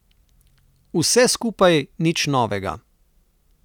Vse skupaj nič novega.